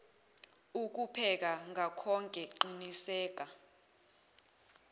ukupheka ngakhoke qiniseka